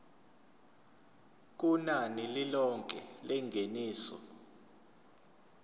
kunani lilonke lengeniso